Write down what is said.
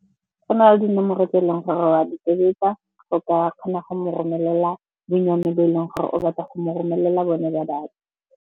Go na le dinomoro tse e leng gore wa di tobetsa go ka kgona go mo romelela bonnyane bo e leng gore o batla go mo romelela bone ba data.